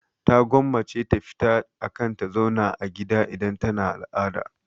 Ta gwammace ta fita akan ta zauna a gida idan tana al'ada.